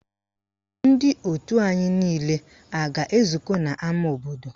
Ndị òtù anyị niile a ga-ezukọ n'ama obodo?